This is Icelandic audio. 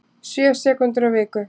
Sjö sekúndur á viku